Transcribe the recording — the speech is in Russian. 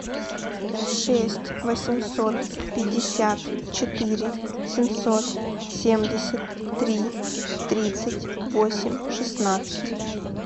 шесть восемьсот пятьдесят четыре семьсот семьдесят три тридцать восемь шестнадцать